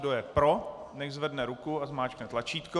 Kdo je pro, nechť zvedne ruku a zmáčkne tlačítko.